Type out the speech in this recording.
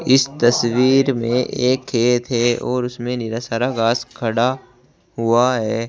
इस तस्वीर में एक खेत है और उसमें ढेर सारा घास खड़ा हुआ है।